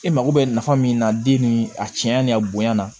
E mago bɛ nafa min na den ni a tiɲɛya ni a bonya na